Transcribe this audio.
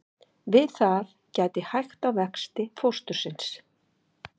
Við það getur hægt á vexti fóstursins.